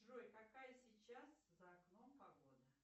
джой какая сейчас за окном погода